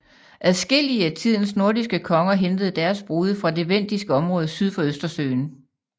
Adskillige af tidens nordiske konger hentede deres brude fra det vendiske område syd for Østersøen